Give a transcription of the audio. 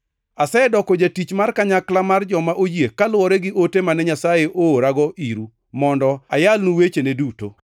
Asedoko jatich mar kanyakla mar joma oyie kaluwore gi ote mane Nyasaye oorago iru mondo ayalnu wechene duto,